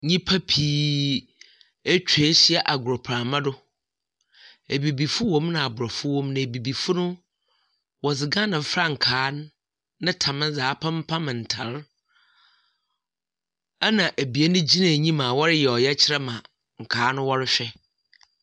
Nyimpa pii etwa ehyia agorprama do. Ebibifo wɔ mu na Aborɔfo wɔ mu, na Ebibifo no wɔdze Ghana frankaa no ne tam dze apempam ntar. Ɛna ebien gyina enyim a wɔreyɛ ɔyɛkyerɛ ma nkaa no wɔrehwɛ.